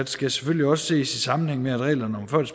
skal selvfølgelig også ses i sammenhæng med at reglerne for